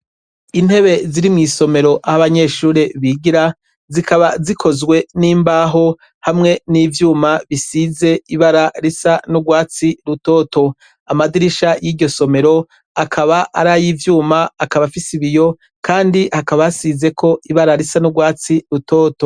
Intebe ziri mw'isomero aho abanyeshure bigira, zikaba zikozwe n'imbaho hamwe n'ivyuma zisize ibara risa n'urwatsi rutoto. Amadirisha y'iryo somero akaba ar'ay'ivyuma, akaba afise ibiyo kandi hakaba hasizeko ibara risa n'urwatsi rutoto.